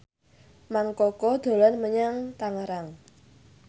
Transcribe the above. Mang Koko dolan menyang Tangerang